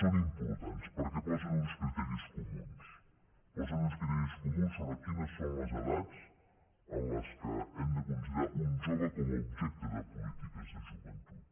són importants perquè posen uns criteris comuns posen uns criteris comuns sobre quines són les edats en les quals hem de considerar un jove com a objecte de polítiques de joventut